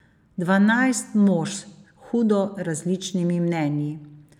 Dvanajst mož s hudo različnimi mnenji.